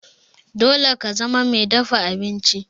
Dole ka zama mai dafa abinci!